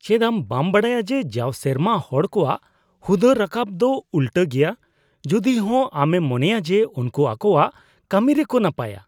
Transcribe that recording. ᱪᱮᱫ ᱟᱢ ᱵᱟᱢ ᱵᱟᱲᱟᱭᱟ ᱡᱮ ᱡᱟᱣ ᱥᱮᱨᱢᱟ ᱦᱚᱲ ᱠᱚᱣᱟᱜ ᱦᱩᱫᱟᱹ ᱨᱟᱠᱟᱵ ᱫᱚ ᱩᱞᱴᱟᱹ ᱜᱮᱭᱟ ᱡᱚᱫᱤᱦᱚᱸ ᱟᱢᱮᱢ ᱢᱚᱱᱮᱭᱟ ᱡᱮ ᱩᱱᱠᱩ ᱟᱠᱚᱣᱟᱜ ᱠᱟᱹᱢᱤ ᱨᱮᱠᱚ ᱱᱟᱯᱟᱭᱟ ?